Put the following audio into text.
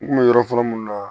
N kun bɛ yɔrɔ fɔlɔ mun na